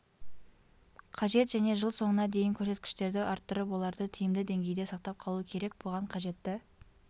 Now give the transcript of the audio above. қажет және жыл соңына дейін көрсеткіштерді арттырып оларды тиімді деңгейде сақтап қалу керек бұған қажетті